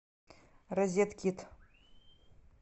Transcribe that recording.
розеткед